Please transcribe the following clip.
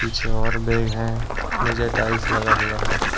पीछे और बैग हैंनीचे टाइल्स लगा हुआ है।